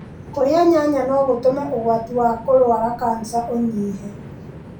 Kũrĩa nyanya no gũtũme ũgwati wa kũrũara kanica ũnyihe.